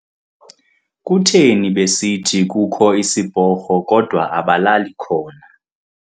Kutheni besithi kukho isiporho kodwa abalali khona.